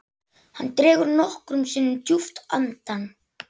Hann dregur nokkrum sinnum djúpt andann.